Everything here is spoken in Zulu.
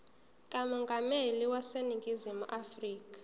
kamongameli waseningizimu afrika